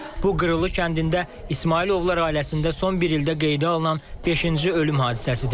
Bu Qırılı kəndində İsmayılovlar ailəsində son bir ildə qeydə alınan beşinci ölüm hadisəsidir.